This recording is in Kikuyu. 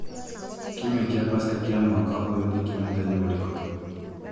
kiumia kia pasaka ya mwaka ũyũ nĩ ya mũthenya ũrĩkũ?